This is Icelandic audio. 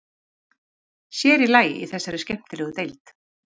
Sér í lagi í þessari skemmtilegu deild.